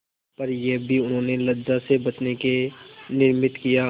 पर यह भी उन्होंने लज्जा से बचने के निमित्त किया